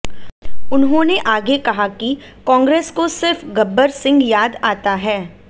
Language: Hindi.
उन्होंने आगे कहा कि कांग्रेस को सिर्फ गब्बर सिंह याद आता है